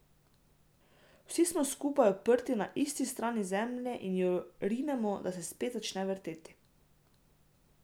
Vsi smo skupaj uprti na isti strani Zemlje in jo rinemo, da se spet začne vrteti.